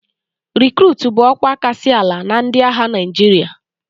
Rikruutu bụ ọkwa kasị ala na ndị agha Naịjirịa